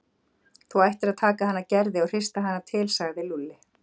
Þú ættir að taka hana Gerði og hrista hana til sagði Lúlli.